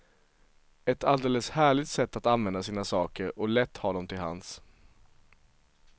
Ett alldeles härligt sätt att använda sina saker och lätt ha dem till hands.